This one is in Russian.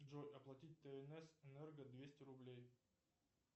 джой оплатить тнс энерго двести рублей